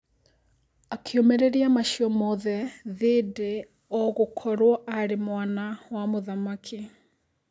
Akĩũmĩrĩria macio mothe thindi ogũkorwo arĩ mwana wa mũthamaki.